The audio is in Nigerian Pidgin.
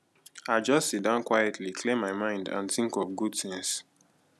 i just sit down quietly clear my mind and think of good things